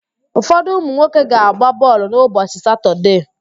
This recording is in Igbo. Ụfodụ ụmụnwoke ga-agba bọọlụ n'ụbọchị Satọdee.